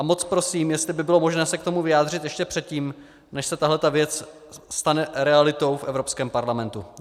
A moc prosím, jestli by bylo možné se k tomu vyjádřit ještě předtím, než se tahle věc stane realitou v Evropském parlamentu.